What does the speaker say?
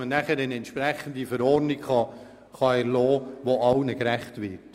Danach können wir eine entsprechende Verordnung erlassen, die allen gerecht wird.